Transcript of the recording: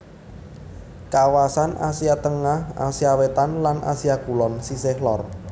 Kawasan Asia Tengah Asia Wétan lan Asia Kulon sisih lor